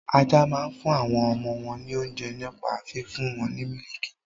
Ajá máa ń fún àwọn ọmọ wọn ní oúnjẹ nípa fífún wọn ní mílìkì.